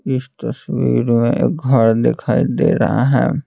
इस तस्वीर में एक घर दिखाई दे रहा है।